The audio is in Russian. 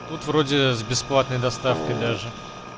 тут вроде с бесплатной доставкой даже